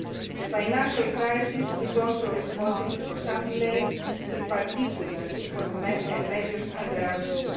The financial crisis is also responsible for some delays, in particular, for measures under Axis